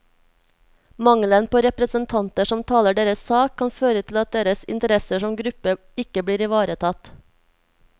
Mangelen på representanter som taler deres sak, kan føre til at deres interesser som gruppe ikke blir ivaretatt.